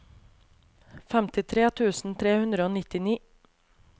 femtitre tusen tre hundre og nittini